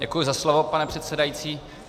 Děkuji za slovo, pane předsedající.